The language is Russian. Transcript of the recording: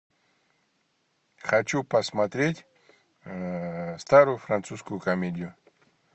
хочу посмотреть старую французскую комедию